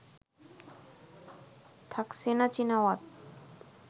Thaksin Shinawatra